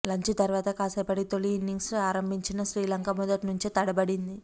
lunch తర్వాత కాసేపటికి తొలి ఇన్నింగ్స్ ఆరంభించిన శ్రీలంక మొదటి నుంచే తడబడింది